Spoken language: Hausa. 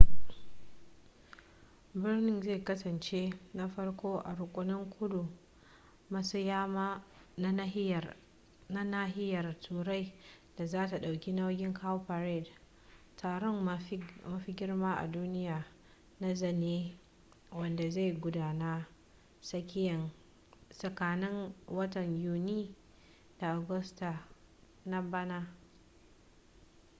birnin zai kasance na farko a rukunin kudu maso yamma na nahiyar turai da zata dauki nauyin cowparade taron mafi girma a duniya na zane wanda zai gudana tsakanin watan yuni da agusta na bana